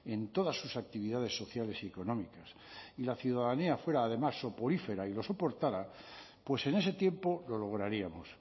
en todas sus actividades sociales y económicas y la ciudadanía fuera además soporífera y lo soporta pues en ese tiempo lo lograríamos